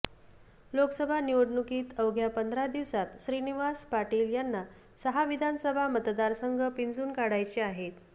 लोकसभा निवडणुकीत अवघ्या पंधरा दिवसात श्रीनिवास पाटील यांना सहा विधानसभा मतदारसंघ पिंजून काढायचे आहेत